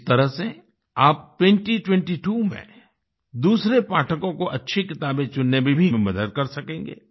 इस तरह से आप 2022 में दूसरे पाठकों को अच्छी किताबें चुनने में भी मदद कर सकेंगे